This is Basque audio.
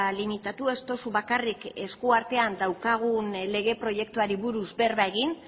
limitatu ez duzu bakarrik esku artean daukagun lege proiektuari buruz berba egin